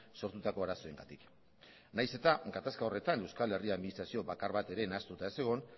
sortutako arazoengatik nahiz eta gatazka horretan euskal herri administrazio bakar bat ere ez nahastuta egon